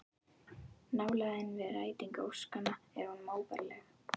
Nálægðin við rætingu óskanna er honum óbærileg